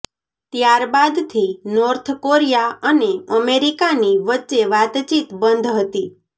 ત્યારબાદથી North Korea અને અમેરિકાની વચ્ચે વાતચીત બંધ હતી